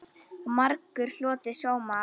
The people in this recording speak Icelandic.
Og margur hlotið sóma af.